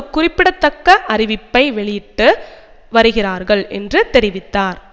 குறிப்பிடத்தக்க அறிவிப்பை வெளியிட்டு வருகிறார்கள் என்று தெரிவித்தார்